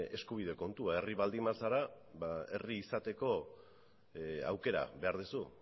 eskubide kontua herri baldin bazara herri izateko aukera behar duzu